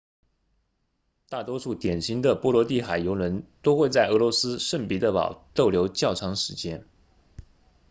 大多数典型的波罗的海游轮都会在俄罗斯圣彼得堡逗留较长时间